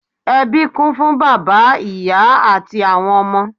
Ẹbí kún fún bàbá, ìyá àti àwọn ọmọ.